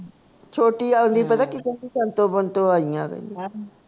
ਛੋਟੀ ਆਉਦੀ ਪਤਾ ਕੀ ਕਹਿੰਦੀ ਸੰਤੋ ਬੰਤੋ ਆਈ ਆ